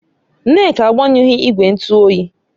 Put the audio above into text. Nneka agbanyuhu igwe ntu oyi